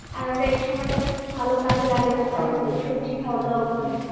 আর আমরা এই সময়টাকে একটু ভালো কাজে লাগাতে পারি, এই সবজি খাওয়াদাওয়া করে